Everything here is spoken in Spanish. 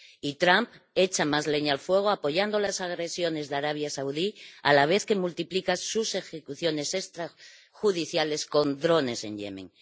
y Trump echa más leña al fuego apoyando las agresiones de Arabia Saudí, a la vez que multiplica sus ejecuciones extrajudiciales con drones en Yemen.